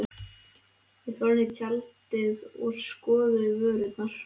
Þau fóru inn í tjaldið og skoðuðu vörurnar.